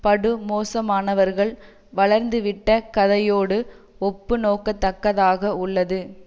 படுமோசமானவர்கள் வளர்ந்துவிட்ட கதையோடு ஒப்பு நோக்கத்தக்கதாக உள்ளது